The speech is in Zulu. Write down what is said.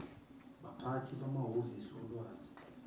baphathi bamahhovisi olwazi